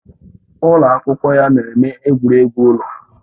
Ụlọ akwụkwọ ya na-eme egwuregwu ụlọ